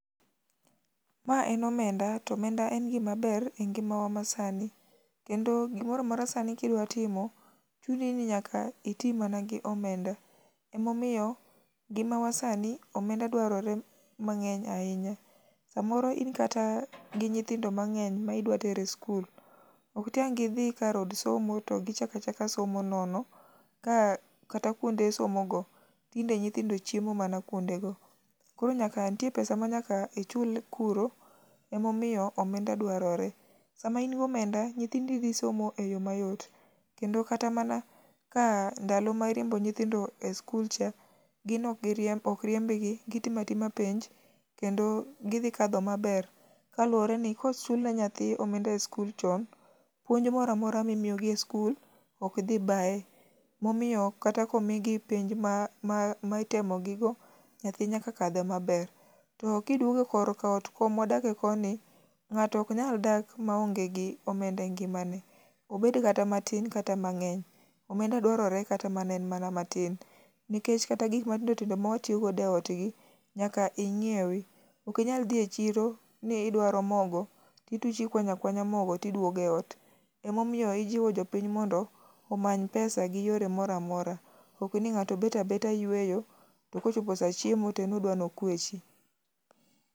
Mae en omenda to omenda en gima ber e ngimawa ma sani. Kendo gimoro amora sani ka idwa timo, chuni ni nyaka iti mana gi omenda, omomiyo e ngimawa sani omenda dwarore mang'eny ahinya. Samoro in kata gi nyithindo mang'eny ma idwa tere e skul, ok tiang' gidhi e od somo to gichak achaka somo nono, ka kata kuonde somogo tinde nyithindo chiemo mana kuondego. Koro nyaka nitie pesa ma nyaka ichul kuro, emomiyo omenda dwarore. Sama in gi omenda, nyithindi dhi somo e yo mayot, kendo kata mana ka ndalo ma iriembo nyithindo e skul cha, gin ok giriemb ok riembgi, gitimo atima penj kendo gidhi kadho maber. Kaluwore ni ka ochul ne nyathi omenda e skul chon, puonj mora mora mimiyo gi e skul ok dhi bae. Momiyo kata ka omigi penj ma ma itemo gigo, nyathi nyaka kadh maber. To kiduogo kor ka ot komwa dake koni, ng'ato ok nyal dak maonge gi omenda e ngimane. Obed kata matin kata mang'eny. Omenda dwarore ma kata en mana matin. Nikech gik matindo tindo mwa tiyogodo e ot gi, nyaka ing'iewi. Ok inyal dhi e chiro ni idwaro mogo tituch ikwanyo akwanya mogo tiduogo e ot. Ema omiyo ijiwo jopiny mondo omany pesa gi yore moro amora. Ok ni ng'ato bet abeta yueyo to kochopo sa chiemo to en odwani okwechi.